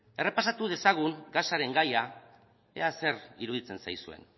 errepasatu dezagun gasaren gaia ea zer iruditzen zaizuen